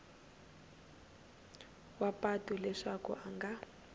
wa patu leswaku a nga